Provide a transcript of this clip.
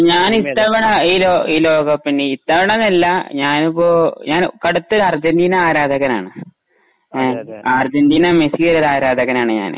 ഞാൻ ഇത്തവണ ഈ ലോകകപ്പിന്..ഇത്തവണ എന്നല്ല ഞാൻ ഇപ്പൊ ഞാൻ കടുത്ത ഒരു അർജന്റീനാ ആരാധകനാണ്. അർജന്റീനാ മെസ്സി യുടെ ആരാധകനാണ് ഞാൻ.